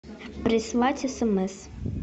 прислать смс